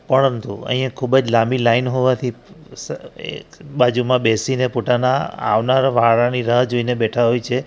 પરંતુ અહીંયા ખૂબ જ લાંબી લાઈન હોવાથી બાજુમાં બેસીને પોતાના આવનાર વાળાની રાહ જોઈને બેઠા હોય છે.